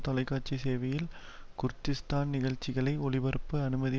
தொலைக்காட்சி சேவையில் குர்திஸ்தான் நிகழ்சிகளை ஒளிபரப்ப அனுமதி